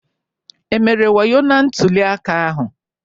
E mere wayo na ntuli aka ahụ?